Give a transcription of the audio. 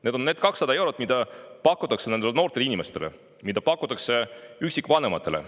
Need on need 200 eurot, mida pakutakse noortele inimestele, mida pakutakse üksikvanematele.